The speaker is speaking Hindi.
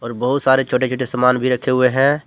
और बहुत सारे छोटे छोटे समान भी रखे हुए हैं।